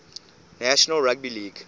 national rugby league